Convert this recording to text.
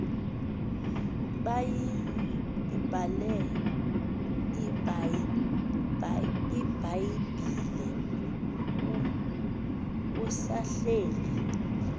bayibhale ibhayibhile usahleli